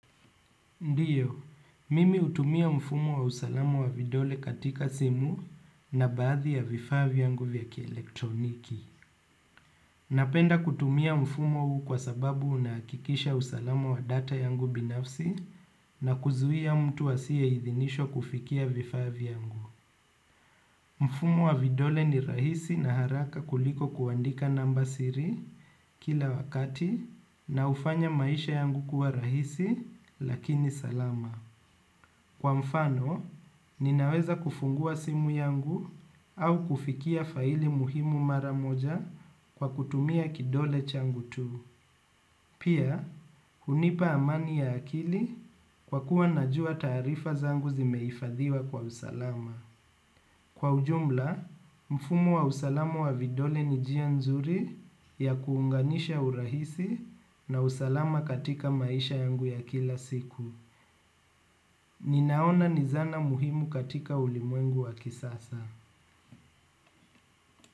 Ndio, mimi hutumia mfumo wa usalamu wa vidole katika simu na baadhi ya vifaa vyangu vya kielektroniki. Napenda kutumia mfumo huu kwa sababu unahakikisha usalamu wa data yangu binafsi na kuzuia mtu asiyeidhinishwa kufikia vifaa vyangu. Mfumo wa vidole ni rahisi na haraka kuliko kuandika namba siri kila wakati na hufanya maisha yangu kuwa rahisi lakini salama. Kwa mfano, ninaweza kufungua simu yangu au kufikia faili muhimu mara moja kwa kutumia kidole changu tu. Pia, hunipa amani ya akili kwa kuwa najua taarifa zangu zimehifadhiwa kwa usalama. Kwa ujumla, mfumo wa usalama wa vidole ni jia nzuri ya kuunganisha urahisi na usalama katika maisha yangu ya kila siku. Ninaona ni zana muhimu katika ulimwengu wa kisasa.